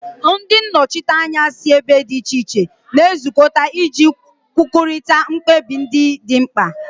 Ndị nnọchiteanya si ebe dị iche iche na-ezukọta iji kwurịta mkpebi ndị dị mkpa